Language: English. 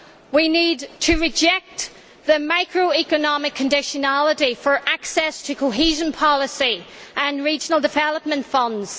we need to reject the microeconomic conditionality for access to cohesion policy and regional development funds